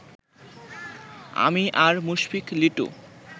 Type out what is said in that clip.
আমি আর মুশফিক লিটু